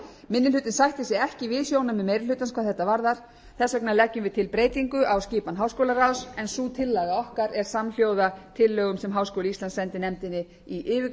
minni hlutinn sættir sig ekki við sjónarmið meiri hlutans hvað þetta varðar þess vegna leggjum við til breytingu á skipan háskólaráðs en sú tillaga okkar er samhljóða tillögum sem háskóli íslands sendi nefndinni í yfirgripsmikilli